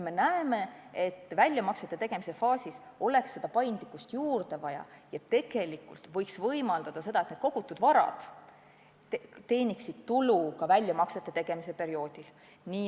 Me näeme, et väljamaksete tegemisel oleks paindlikkust juurde vaja ja võiks võimaldada ka seda, et kogutud vara teeniks tulu ka väljamaksete tegemise perioodil.